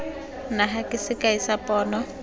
naga ke sekai sa pono